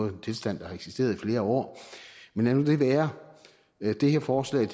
er en tilstand der har eksisteret i flere år men lad nu det være det her forslag